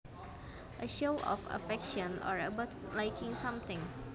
A show of affection or about liking something